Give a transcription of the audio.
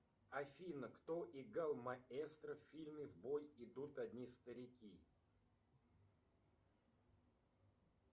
афина кто играл маэстро в фильме в бой идут одни старики